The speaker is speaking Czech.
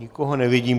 Nikoho nevidím.